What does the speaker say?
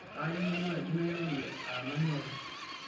kayieu naaji nairorie aa nanu ake